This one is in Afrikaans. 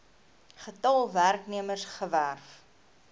getal werknemers gewerf